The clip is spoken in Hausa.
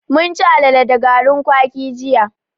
Mun chi alale da garin kwaki jiya.